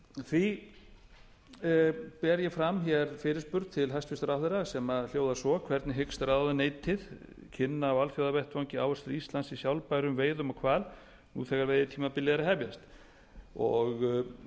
því ber ég fram hér fyrirspurn til hæstvirts ráðherra sem hljóðar svo hvernig hyggst ráðuneytið kynna á alþjóðavettvangi áhrif íslands í sjálfbærum veiðum á hval nú þegar veiðitímabilið er að hefjast